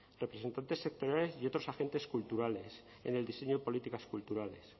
representantes sectoriales y otros agentes culturales en el diseño de políticas culturales